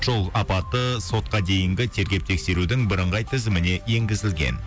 жол апаты сотқа дейінгі тергеп тексерудің бірыңғай тізіміне енгізілген